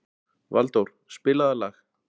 Valdór, spilaðu lag.